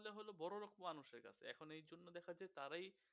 বড়োলোক মানুষের কাছে এখন এই জন্য দেখা যায় তারাই